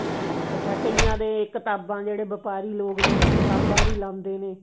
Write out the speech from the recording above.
ਅੱਛਾ ਕਿਆਂ ਦੇ ਕਿਤਾਬਾਂ ਜਿਹੜੇ ਵਪਾਰੀ ਲੋਕ ਨੇ ਉਹ ਕਿਤਾਬਾਂ ਵੀ ਲਾਉਂਦੇ ਨੇ